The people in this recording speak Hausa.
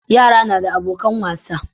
Yara nada abokan wasa